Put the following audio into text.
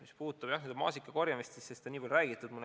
Mis puudutab maasikakorjamist, siis sellest on nii palju räägitud.